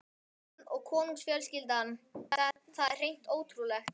Hann og konungsfjölskyldan, það var hreint ótrúlegt.